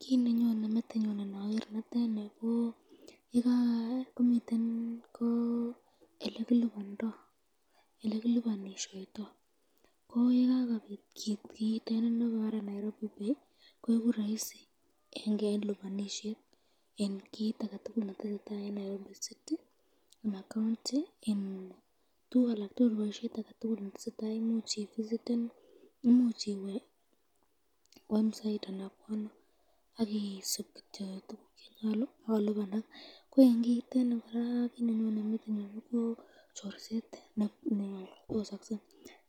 Kiit nenyone metinyun indoker nitet nii ko elekilibondo, elekilibonishoito, ko yekakobit kiit kiitet nekekuren Nairobi pay koikuu roisi en libonishet en kiit aketukul netesetaa en Nairobi City anan county en tukuk alak tukul boishet netesetai koimuuch ivisiten, imuuch iwee website anan kwono akisiib kityok tukuk chenyolu ak kolibanak, ko en kiitet nii kora ko kiit nenyone metinyun ko chorset nebosokse,